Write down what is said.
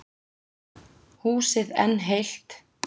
Húsið enn heilt.